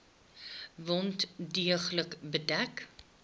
wond deeglik bedek